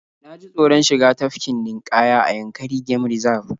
Na ji taoron shiga tafkin ninƙaya a Yankari game Reserve